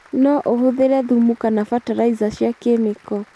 No ũhũthĩre thumu kana bataraiza cia kemiko.